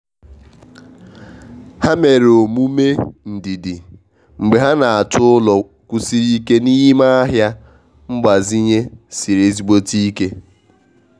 ha mere omume ndidi mgbe ha na-achọ ụlọ kwụsiri ike n'ime ahịa mgbazinye siri ezigbote ike.